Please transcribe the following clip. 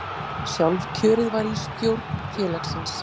Sjálfkjörið var í stjórn félagsins